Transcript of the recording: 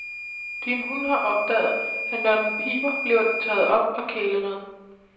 Din hund har opdaget, at når den piber, bliver den taget op og kælet med.